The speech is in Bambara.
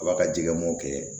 A b'a ka jɛgɛ mɔkɛ